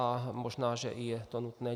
A možná že to je i nutné.